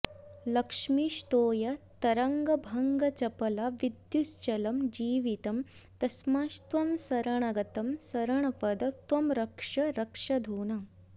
लक्ष्मीस्तोयतरङ्गभङ्गचपला विद्युच्चलं जीवितं तस्मात्त्वां शरणागतं शरणद त्वं रक्ष रक्षाधुना